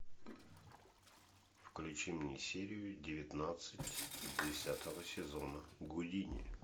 включи мне серию девятнадцать десятого сезона гудини